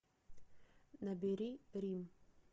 набери рим